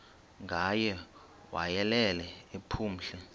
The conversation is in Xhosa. ngaye wayelele ephumle